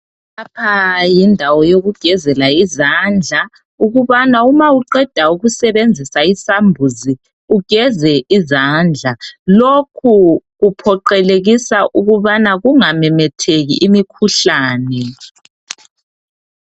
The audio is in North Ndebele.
Lapha yindawo yokugezela izandla ukubana uma uqeda ukusebenzisa isambuzi ugeze izandla. Lokhu kuphoqelekisa ukubana kungamemetheki imikhuhlane